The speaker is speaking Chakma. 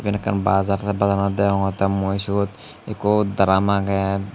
yen ekkan bazar tey bazar anot degongottey mui syot ekko drum agey.